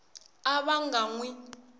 a va nga n wi